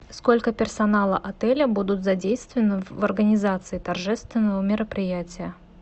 сколько персонала отеля будут задействованы в организации торжественного мероприятия